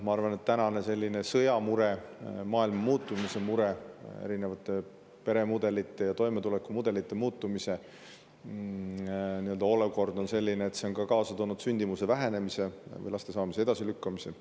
Ma arvan, et tänane sõjamure, maailma muutumise mure, erinevate peremudelite ja toimetulekumudelite muutumine on kaasa toonud sündimuse vähenemise või laste saamise edasilükkamise.